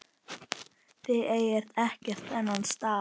Þið eigið ekkert þennan stað.